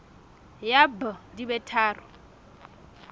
ya b di be tharo